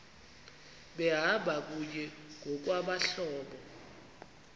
behamba kunye ngokwabahlobo